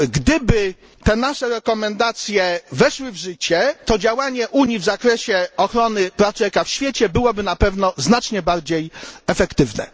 Gdyby te nasze rekomendacje weszły w życie, to działanie Unii w zakresie ochrony praw człowieka w świecie byłoby na pewno znacznie bardziej efektywne.